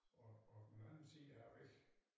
Og og på den anden side af æ væg